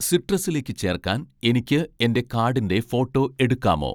സിട്രസിലേക്ക് ചേർക്കാൻ എനിക്ക് എൻ്റെ കാഡിൻ്റെ ഫോട്ടോ എടുക്കാമോ?